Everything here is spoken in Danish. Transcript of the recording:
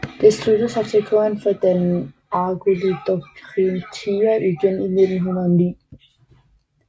Det sluttede sig til Korinth for at danne Argolidocorinthia igen i 1909